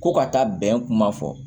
Ko ka taa bɛn kuma fɔ